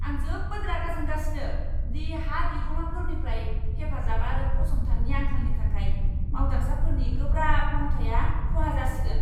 आं जोबोद रागा जोंगासिनो दि हा बिगुमाफोरनिफ्राय हेफाजाब आरो फसंथाननि आंखालनि थाखाय मावदांसाफोरनि गोब्राब मावथाया खहा जासिगोन!